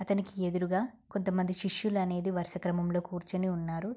అతనికి ఎదురుగా కొంత మంది శిష్యులనేది వరుస క్రమంలో కూర్చొని ఉన్నారు.